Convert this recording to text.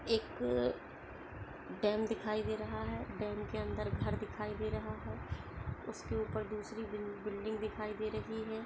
एक डॅम दिखाई दे रहा है डॅम के अंदर घर दिखाई दे रहा है उसके ऊपर दूसरी बिल--बिल्डिंग दिखाई दे रही है।